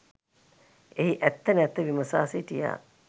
එහි ඇත්ත නැත්ත විමසා සිටියා.